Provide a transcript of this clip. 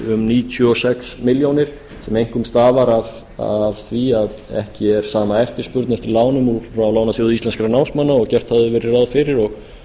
um níutíu og sex milljónir sem einkum stafar af því að ekki er sama eftirspurn eftir lánum úr lánasjóði íslenskra námsmanna og gert hafði verið ráð fyrir og